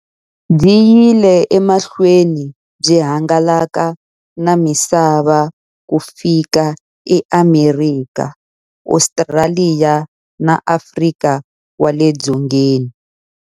Byi yile emahlweni byi hangalaka na misava ku fika eAmerika, Ostraliya na Afrika wale dzongeni.